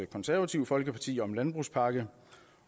konservative folkeparti om en landbrugspakke